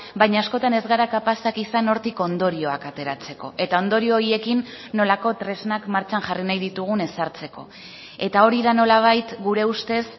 baina askotan ez gara kapazak izan hortik ondorioak ateratzeko eta ondorio horiekin nolako tresnak martxan jarri nahi ditugun ezartzeko eta hori da nolabait gure ustez